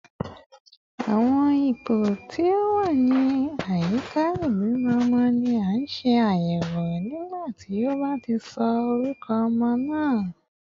Awọn ipo ti o wa ni ayika ibimọ ọmọ ni a ṣe ayẹwo nigbati o ba sọ orukọ ọmọ naa